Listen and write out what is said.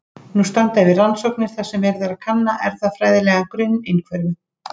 Nú standa yfir rannsóknir þar sem verið er að kanna erfðafræðilegan grunn einhverfu.